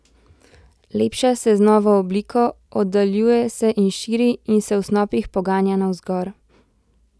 Lepša se z novo obliko, oddaljuje se in širi, in se v snopih poganja navzgor.